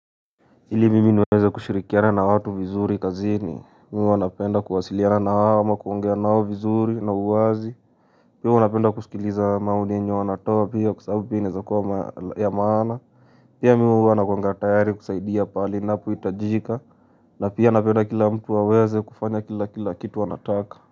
Ili mimi niweze kushirikiana na watu vizuri kazini Mimi huwa wanapenda kuwasiliana na wao ama kuongea nao vizuri na uwazi Pia wanapenda kusikiliza maoni yenye wanatoa pia kwa sababu pia inaeza kuwa ya maana Pia mimi huwa nakuanga tayari kusaidia pali ninapo nahitajika na pia napenda kila mtu aweze kufanya kila kila kitu anataka.